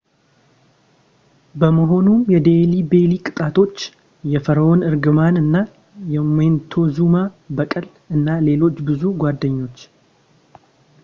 በመሆኑም የዴልሂ ቤሊ ቅጣቶች የፈርኦንእርግማንና የሞንቴዙማ በቀል እና ሌሎች ብዙ ጓደኞች